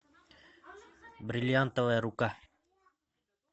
бриллиантовая рука